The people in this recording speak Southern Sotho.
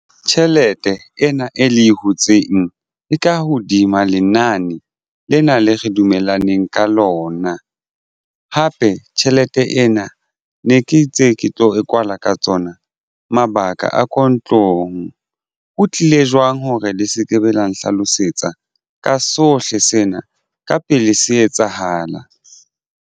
Tjhelete ena e le hutseng e ka hodima lenane lena le re dumellaneng ka lona hape tjhelete ena ne ke itse ke tlo e kwala ka tsona mabaka a ka ntlong. Ho tlile jwang hore le se ke be la nhlalosetsa ka sohle sena ka pele se etsahala.